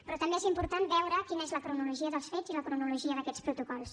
però també és important veure quina és la cronologia dels fets i la cronologia d’aquests protocols